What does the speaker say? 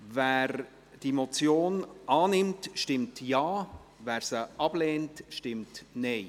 Wer diese Motion annimmt, stimmt Ja, wer diese ablehnt, stimmt Nein.